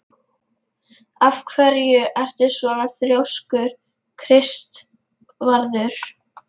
Af hverju ertu svona þrjóskur, Kristvarður?